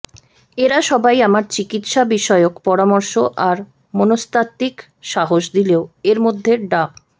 এরা সবাই আমার চিকিৎসা বিষয়ক পরামর্শ আর মনস্তাত্ত্বিক সাহস দিলেও এর মধ্যে ডা